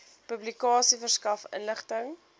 publikasie verskaf inligting